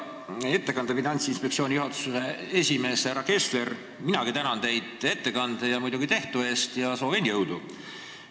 Hea ettekandja, Finantsinspektsiooni juhatuse esimees härra Kessler, minagi tänan teid ettekande ja muidugi tehtu eest ning soovin jõudu.